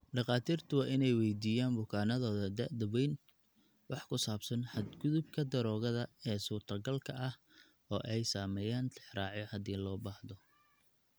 Dhakhaatiirtu waa inay weydiiyaan bukaannadooda da'da weyn wax ku saabsan xadgudubka daroogada ee suurtagalka ah oo ay sameeyaan tixraacyo haddii loo baahdo.